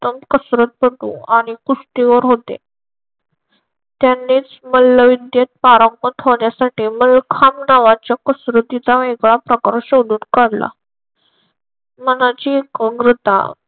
उत्तम कसरत करतो आणि कुस्तीवर होते. त्यांनीच मल्लविद्येत पारंगत होण्यासाठी मलखाम नावाचा कसरतीचा वेगळा प्रकार शोधून काढला. मनाची एकाग्रता